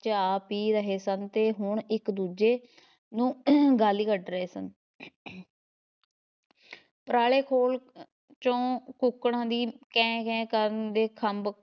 ਚਾਹ ਪੀ ਰਹੇ ਸਨ ਤੇ ਹੁਣ ਇੱਕ ਦੂਜੇ ਨੂੰ ਗਾਲੀਂ ਕੱਢ ਰਹੇ ਸਨ ਪਰਾਲੇ ਖੋਲ ‘ਚੋਂ ਕੁੱਕੜਾਂ ਦੀ ਕੈਂ ਕੈਂ ਕਰਨ ਦੇ ਖੰਭ